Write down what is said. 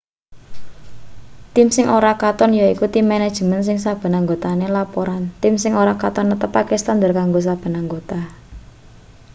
tim sing ora katon yaiku tim manajemen sing saben anggotane laporan tim sing ora katon netepake standar kanggo saben anggota